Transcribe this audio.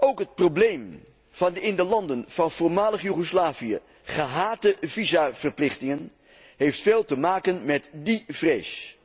Ook het probleem van de in de landen van voormalig Joegoslavië gehate visaverplichtingen heeft veel te maken met die vrees.